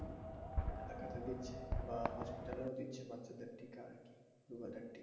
একলাতে দিচ্ছে বা hospital এও দিচ্ছে বাচ্চাদের টিকা rubella র টিকা।